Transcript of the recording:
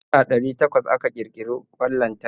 Shekara alif ɗari takwas aka kirkiri kwan lantarki.